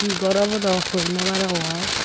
hi gor obow dow hoi nawarongor.